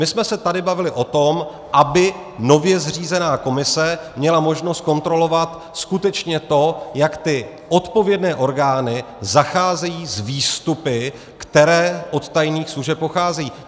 My jsme se tady bavili o tom, aby nově zřízená komise měla možnost kontrolovat skutečně to, jak ty odpovědné orgány zacházejí s výstupy, které od tajných služeb pocházejí.